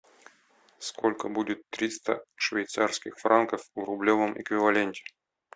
сколько будет триста швейцарских франков в рублевом эквиваленте